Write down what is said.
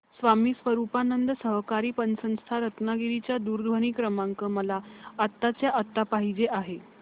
स्वामी स्वरूपानंद सहकारी पतसंस्था रत्नागिरी चा दूरध्वनी क्रमांक मला आत्ताच्या आता पाहिजे आहे